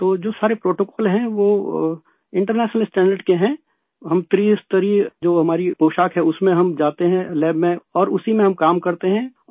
تو جو سارےپروٹوکول ہیں وہ بین الاقوامی معیار کے ہیں، یہ جو ہماری تین سطحی پوشاک ہے اسے پہن کر ہم جاتے ہیں لیب میں، اور اسی میں ہم کام کرتے ہیں